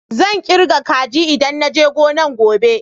Zan kirga kaji idan na je gonan gobe.